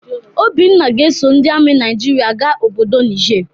Obinna ga-eso ndị ami Naijiria ga obodo Nije.